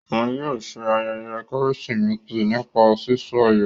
Òún yóò ṣe ayẹyẹ Kérésìmesì nípa sísọ ayọ.